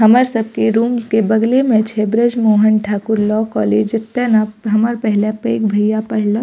हमर सब के रूम्स के बगले में छै ब्रिज मोहन ठाकुर लॉ कॉलेज जता ने हमर पहला पैग भैया पढ़लक।